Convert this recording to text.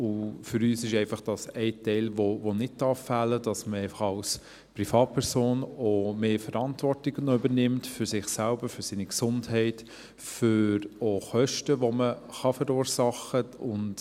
Für uns ist dies ein Teil, der nicht fehlen darf, dass man als Privatperson auch mehr Verantwortung übernimmt für sich selbst und für seine Gesundheit und für Kosten, die man verursachen kann.